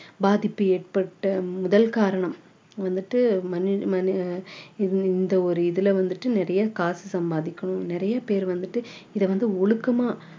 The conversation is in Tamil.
பாதிப்பு ஏற்பட்டு முதல் காரணம் வந்துட்டு இது இந்த ஒரு இதுல வந்துட்டு நிறைய காசு சம்பாதிக்கணும் நிறைய பேர் வந்துட்டு இதை வந்து ஒழுக்கமா